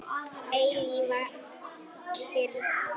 Eilífa kyrrð.